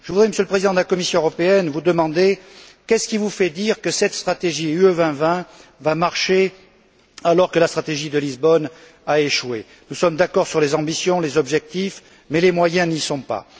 Je voudrais, Monsieur le Président de la Commission européenne, vous demander ce qui vous fait dire que cette stratégie UE 2020 va marcher alors que la stratégie de Lisbonne a échoué. Nous sommes d'accord sur les ambitions et les objectifs, mais les moyens n'y sont pas.